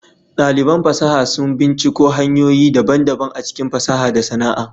Daliban fasaha sun binciko hanyoyi daban-daban a cikin fasaha da sana'a.